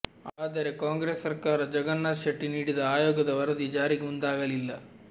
ಆದರೆ ಕಾಂಗ್ರೆಸ್ ಸರ್ಕಾರ ಜಗನ್ನಾಥ ಶೆಟ್ಟಿ ನೀಡಿದ ಆಯೋಗದ ವರದಿ ಜಾರಿಗೆ ಮುಂದಾಗಲಿಲ್ಲ